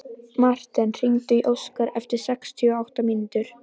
Marten, hringdu í Óskar eftir sextíu og átta mínútur.